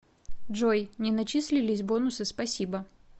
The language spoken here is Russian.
джой не начислились бонусы спасибо